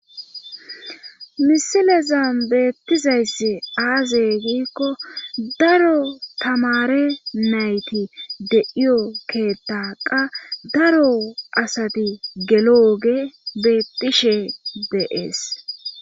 misilezan beettizayss aaze giikko daro tamare nayti deiyo keetta qa daro asati gelo oge beettishe deees